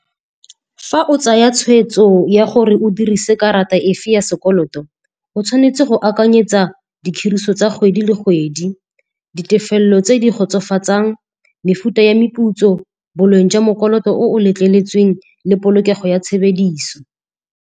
Fa o tsaya tshweetso ya gore o dirise karata efe ya sekoloto, o tshwanetse go akanyetsa ditiriso tsa kgwedi le kgwedi, ditefelelo tse di kgotsofatsang, mefuta ya meputso boleng jwa mokoloto o letleletsweng le polokego ya tshebediso.